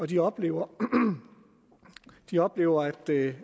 de oplever de oplever at det